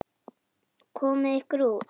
Komiði ykkur út.